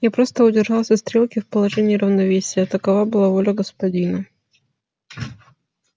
я просто удержал все стрелки в положении равновесия такова была воля господина